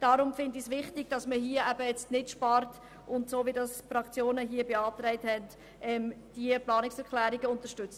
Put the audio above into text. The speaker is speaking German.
Deshalb halte ich es für wichtig, hier nicht zu sparen und die Planungserklärungen, wie von den Fraktionen beantragt, zu unterstützen.